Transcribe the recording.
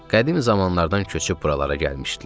Qədim zamanlardan köçüb buralara gəlmişdilər.